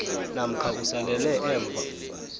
namkha usalele emva